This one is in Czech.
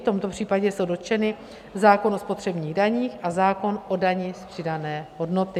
V tomto případě jsou dotčeny zákon o spotřebních daních a zákon o dani z přidané hodnoty.